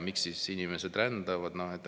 Miks inimesed rändavad?